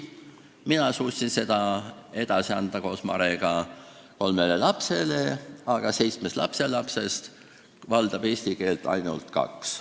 Mina ja Mare suutsime eesti keele edasi anda kolmele lapsele, aga seitsmest lapselapsest valdab eesti keelt ainult kaks.